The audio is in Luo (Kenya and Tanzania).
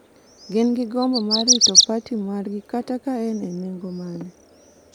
gin gi gombo mar rito parti margi kata ka en e nengo mane,